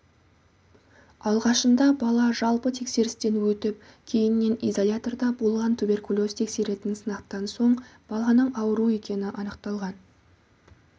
алғашында бала жалпы тексерістен өтіп кейіннен изоляторда болған туберкулез тексеретін сынақтан соң баланың ауру екені анықталған